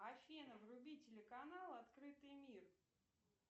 афина вруби телеканал открытый мир